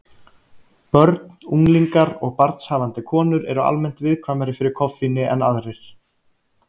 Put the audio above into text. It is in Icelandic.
Börn, unglingar og barnshafandi konur eru almennt viðkvæmari fyrir koffíni en aðrir.